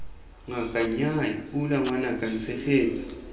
ngaka nnyaa pula ngwanaka ntshegetse